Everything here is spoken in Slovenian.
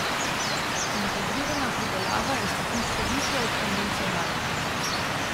Integrirana pridelava je stopničko višje od konvencionalne.